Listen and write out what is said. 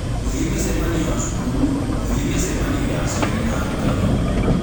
Gũthiĩ mĩcemanio ya cukuru, gũthiĩ mĩcemanio ya aciari na arutani.